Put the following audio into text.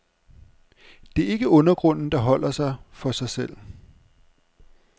Det er ikke undergrunden, der holder sig for sig selv.